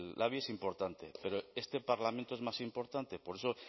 el labi es importante pero este parlamento es más importante por eso